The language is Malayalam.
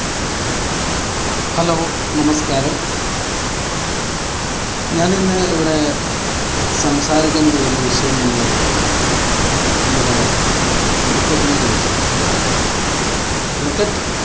hello, നമസ്കാരം. ഞാനിന്ന് ഇവിടെ സംസാരിക്കാൻ പോകുന്ന വിഷയം എന്ന് പറയുന്നത് നമ്മുടെ cricket നെ കുറിച്ചാണ്. cricket